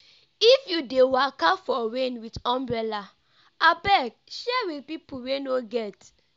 if you dey waka for rain wit umbrella abeg share wit pipu wey no get.